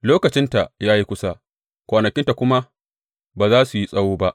Lokacinta ya yi kusa, kwanakinta kuma ba za su yi tsawo ba.